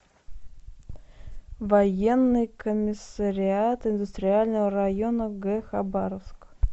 военный комиссариат индустриального района г хабаровск